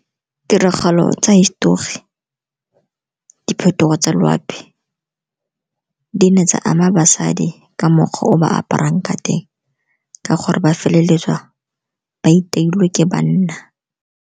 Tiragalo tsa hisetori, diphetogo tsa loapi di ne tsa ama basadi ka mokgwa o ba aparang ka teng ka gore ba feleletsa ba iteilwe ke banna.